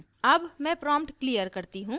अब मैं prompt clear करती हूँ